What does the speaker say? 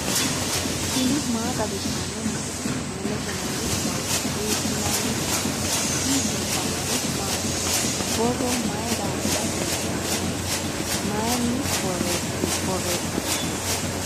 tini maa xawissanno misileeti ? mulese noori maati ? hiissinannite ise ? tini kultannori mattiya? borro mayi daafirra kulittanno? mayiinni borreessanttino?